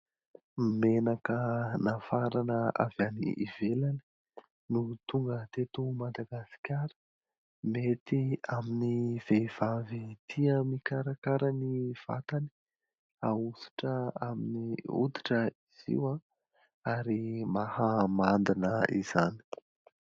Menaka nafarana avy any ivelany no tonga teto madagasikara. Mety amin'ny vehivavy tia mikarakara ny vatany. Ahosotra amin'ny hoditra izy io ary mahamandina izany.